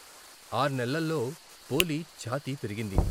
ఆర్నెల్లలో పోలి ఛాతీ పెరిగింది.